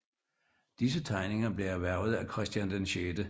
Disse tegninger blev erhvervet af Christian 6